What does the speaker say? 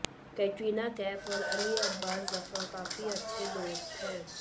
कैटरीना कैफ और अली अब्बास ज़फर काफी अच्छे दोस्त हैं